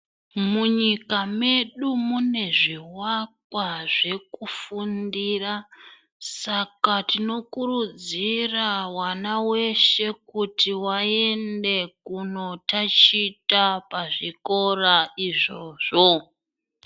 Munyika medu mune zvivakwa zvekufundira. Saka tinokurudzira vana veshe kuti vaende kunotachita pazvikora izvozvo.